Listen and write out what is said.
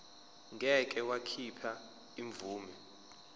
ngeke wakhipha imvume